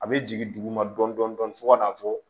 A bɛ jigin duguma dɔɔnin dɔɔnin fo ka na fɔ